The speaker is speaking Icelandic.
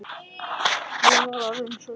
Ég var orðinn svo seinn.